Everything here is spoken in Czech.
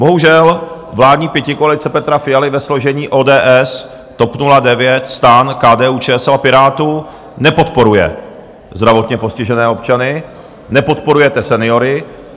Bohužel, vládní pětikoalice Petra Fialy ve složení ODS, TOP 09, STAN, KDU-ČSL a Pirátů nepodporuje zdravotně postižené občany, nepodporujete seniory.